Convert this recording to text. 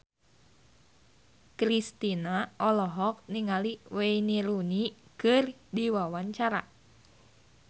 Kristina olohok ningali Wayne Rooney keur diwawancara